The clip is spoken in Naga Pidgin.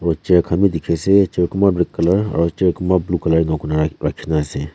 picture kahn bi dikhiase jo kunba red colour aro jo kunba blue colour enkurna rakhina ase.